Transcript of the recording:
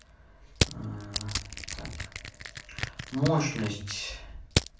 так мощность